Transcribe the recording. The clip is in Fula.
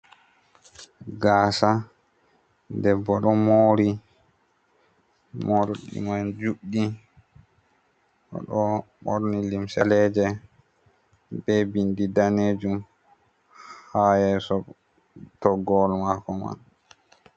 Gasa debbo ɗo mori morɗi man juɗɗi o ɗo borni lumse be bindi danejum ha yeso toggowol mako man.